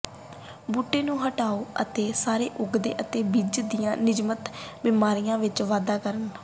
ਬੂਟੇ ਨੂੰ ਹਟਾਓ ਅਤੇ ਸਾਰੇ ਉਗਦੇ ਅਤੇ ਬੀਜਣ ਦੀਆਂ ਨਿਯਮਤ ਬਿਮਾਰੀਆਂ ਵਿੱਚ ਵਾਧਾ ਕਰਨ